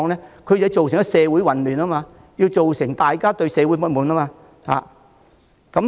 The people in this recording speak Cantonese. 便是要造成社會混亂，令大家對社會不滿。